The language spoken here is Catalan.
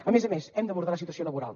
a més a més hem d’abordar la situació laboral